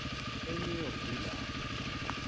enew york kulapha